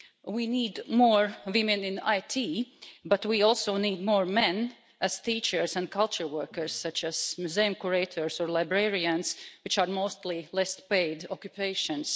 We need more women in IT, but we also need more men as teachers and culture workers, such as museum curators or librarians, which are mostly less well-paid occupations.